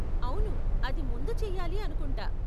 అవును, అది ముందు చెయ్యాలి అనుకుంటా.